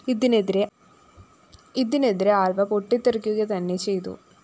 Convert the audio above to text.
ഇതിനെതിരെ ആല്‍വ പൊട്ടിത്തെറിക്കുകതന്നെ ചെയ്തു